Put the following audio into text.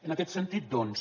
en aquest sentit doncs